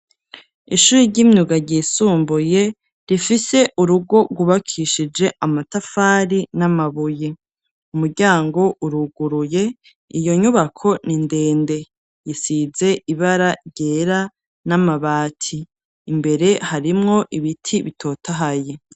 Ishuri ry'imyuga ryisumbuye, rifise urugo rwubakishije amatafari n'amabuye, umuryango uruguruye iyo nyubako nindende. Iyisize ibara ryera n'amabati. Imbere harimwo ibiti bitotahaye.